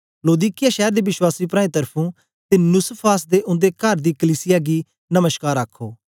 लौदीकिया शैर दे वश्वासी प्राऐं त्र्फुं ते नुसफास ते उन्दे कर दी कलीसिया गी नमश्कार अख्खो